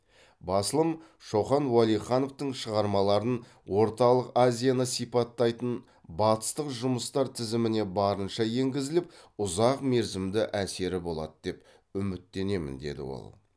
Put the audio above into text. басылым шоқан уәлихановтың шығармаларын орталық азияны сипаттайтын батыстық жұмыстар тізіміне барынша енгізіліп ұзақ мерзімді әсері болады деп үміттенемін деді ол